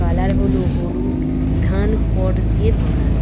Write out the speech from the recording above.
Colour হলো হলুদ ধান খড় দিয়ে বানানো।